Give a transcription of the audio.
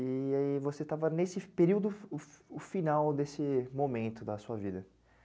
E aí você estava nesse período, o final desse momento da sua vida.